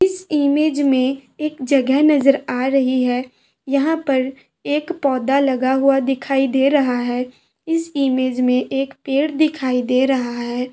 इस इमेज में एक जगह नजर आ रही है यहां पर एक पौधा लगा हुआ दिखाई दे रहा है इस इमेज में एक पेड़ दिखाई दे रहा है।